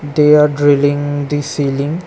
They are drilling the ceiling.